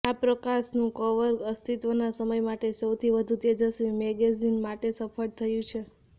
આ પ્રકાશનનું કવર અસ્તિત્વના સમય માટે સૌથી વધુ તેજસ્વી મેગેઝિન માટે સફળ થયું છે